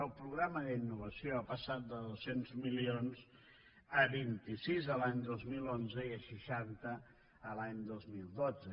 el programa d’innovació ha passat de dos cents milions a vint sis l’any dos mil onze i a seixanta l’any dos mil dotze